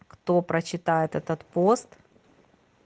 кто прочитает этот пост